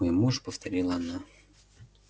мой муж повторила она